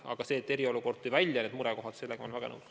Aga sellega, et eriolukord tõi välja need murekohad, olen väga nõus.